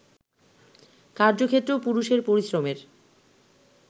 কার্যক্ষেত্রেও পুরুষের পরিশ্রমের